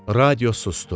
Radio susdu.